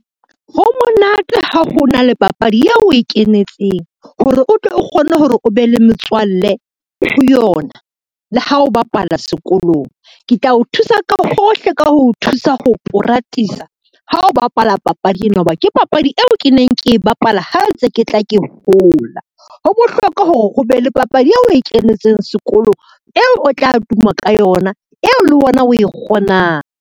Ho monate ha ho na le papadi eo o e kenetseng, hore o tle o kgone hore o be le metswalle ho yona le ha o bapala sekolong. Ke tla o thusa ka hohle ka ho o thusa ho poratisa ha o bapala papadi ena ho ba, ke papadi eo ke neng ke e bapala ha ntse ke tla ke hola. Ho bohlokwa hore ho be le papadi eo o e kentseng sekolong eo o tla tuma ka yona eo le wena o e kgonang.